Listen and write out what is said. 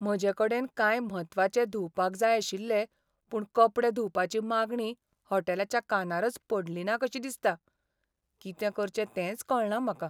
म्हजेकडेन कांय म्हत्वाचे धुवपाक जाय आशिल्ले, पूण कपडे धुवपाची मागणी हॉटेलाच्या कानारच पडलीना कशी दिसता. कितें करचें तेंच कळना म्हाका.